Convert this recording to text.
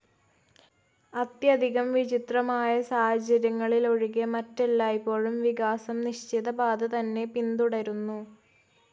അത്യധികം വിചിത്രമായ സാഹചര്യങ്ങളിലൊഴികെ, മറ്റെല്ലായ്പ്പോഴും വികാസം നിശ്ചിത പാത തന്നെ പിന്തുടരുന്നു.